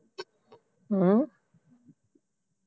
ਹਮ